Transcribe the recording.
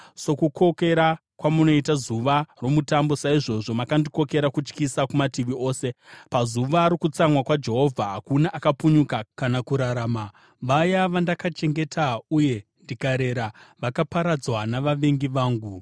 “Sokukokera kwamunoita zuva romutambo, saizvozvo makandikokera kutyisa kumativi ose. Pazuva rokutsamwa kwaJehovha hakuna akapunyuka kana kurarama; vaya vandakachengeta uye ndikarera, vaparadzwa navavengi vangu.”